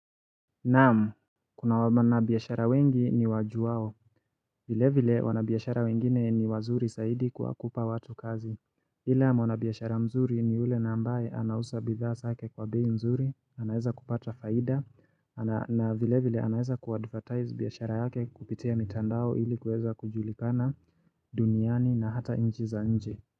Naam, kuna wana biashara wengi niwajuwao. Vile vile wanabiashara wengine ni wazuri zaidi kwa kupa watu kazi. Ila mwanabiashara mzuri ni ule na ambaye anausa bidhaa zake kwa bei nzuri, anaeza kupata faida, na vile vile anaeza kuadvertize biashara yake kupitia mitandao ili kuweza kujulikana duniani na hata inji za nje.